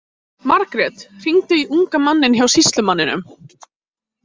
Margrét, hringdu í unga manninn hjá sýslumanninum.